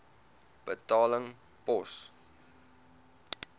betaling pos